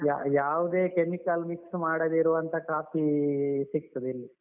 ಯಾ ಯಾವುದೇ chemical mix ಮಡದಿರುವಂಥಹ coffee ಸಿಗ್ತದೆ ಇಲ್ಲಿ.